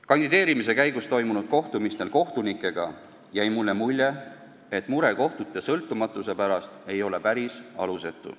Kandideerimise käigus toimunud kohtumistel kohtunikega jäi mulle mulje, et mure kohtute sõltumatuse pärast ei ole päris alusetu.